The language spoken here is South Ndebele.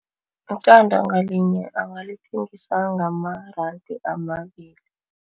Iqanda ngalinye angalithengisa ngamaranda amabili.